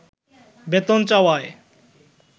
বেতন চাওয়ায়